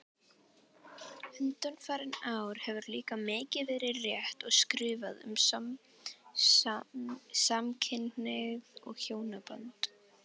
Undanfarin ár hefur líka mikið verið rætt og skrifað um samkynhneigð og hjónaband.